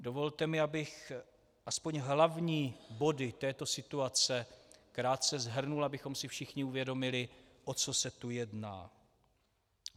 Dovolte mi, abych aspoň hlavní body této situace krátce shrnul, abychom si všichni uvědomili, o co se tu jedná.